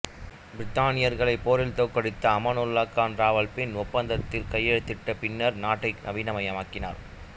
பிரித்தானியர்களைப் போரில் தோற்கடித்த அமானுல்லா கான் ராவல்பிண்டி ஒப்பந்தத்தில் கையெழுத்திட்ட பின்னர் நாட்டை நவீனமயமாக்கினார்